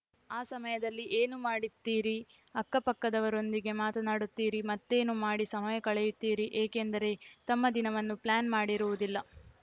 ಆ ಸಮಯದಲ್ಲಿ ಏನು ಮಾಡುತ್ತೀರಿ ಅಕ್ಕಪಕ್ಕದವರೊಂದಿಗೆ ಮಾತನಾಡುತ್ತೀರಿ ಮತ್ತೇನೋ ಮಾಡಿ ಸಮಯ ಕಳೆಯುತ್ತೀರಿ ಏಕೆಂದರೆ ತಮ್ಮ ದಿನವನ್ನು ಪ್ಲಾನ್‌ ಮಾಡಿರುವುದಿಲ್ಲ